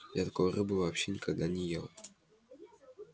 я такой рыбы вообще никогда не ел